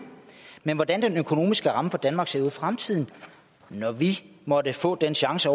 men hvordan den økonomiske ramme for danmark ser ud fremtiden når vi måtte få den chance